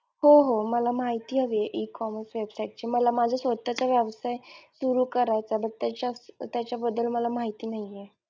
हो हो मला माहिती हवी ecommerce website ची मला माझा स्वतःचा व्यवसाय सुरु करायचा तर त्याच्या त्याच्या बद्दल मला माहिती नाहीये.